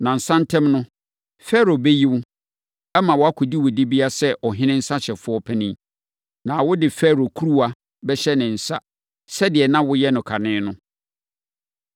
Nnansa ntam no, Farao bɛyi wo, ama woakɔdi wo dibea sɛ ɔhene nsãhyɛfoɔ panin. Na wode Farao kuruwa bɛhyɛ ne nsa sɛdeɛ na woyɛ no kane no.